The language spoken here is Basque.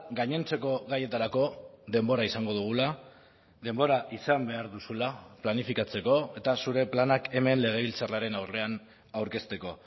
gainontzeko gaietarako denbora izango dugula denbora izan behar duzula planifikatzeko eta zure planak hemen legebiltzarraren aurrean aurkezteko